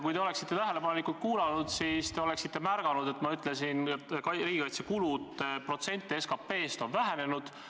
Kui te oleksite tähelepanelikult kuulanud, siis te oleksite tähele pannud, et ma ütlesin, et riigikaitse kulud protsendina SKP-st on vähenenud.